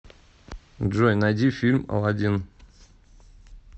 джой найди фильм аладин